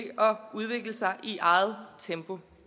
udvikle sig i eget tempo